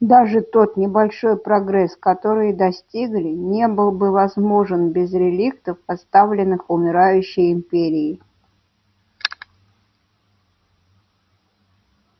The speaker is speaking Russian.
даже тот небольшой прогресс который достигли не был бы возможен без реликтов оставленных умирающей империей